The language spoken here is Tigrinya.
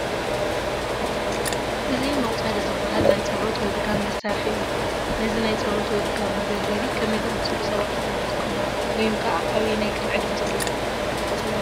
እዚ መቑፀርያ ዝበሃል ናይ ፀሎት ወይ ድጋም መሳርሒ እዩ፡፡ ነዚ ናይ ፀሎት ወይ ድጋም መገልገሊ ከመይ ዝኣምሰሉ ሰባት እዮም ዝጥቀሙሉ?